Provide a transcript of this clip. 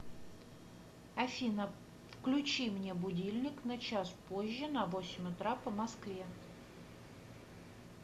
афина включи мне будильник на час позже на восемь утра по москве